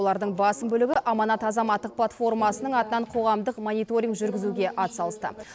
олардың басым бөлігі аманат азаматтық платформасының атынан қоғамдық мониторинг жүргізуге атсалысты